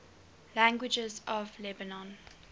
languages of lebanon